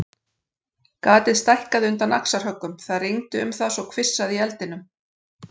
Gatið stækkaði undan axarhöggum, það rigndi um það svo hvissaði í eldinum.